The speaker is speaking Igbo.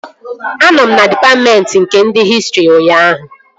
Anọ m na dịpatmentị nke ndị hịstrị ụnyaahụ